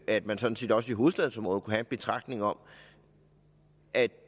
at man sådan set også i hovedstadsområdet kunne have en betragtning om at